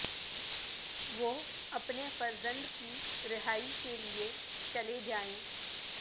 وہ اپنے فرزند کی رہائی کے لیے چلے جائیں